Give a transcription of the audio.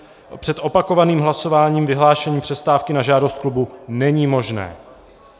před opakovaným hlasováním vyhlášení přestávky na žádost klubu není možné.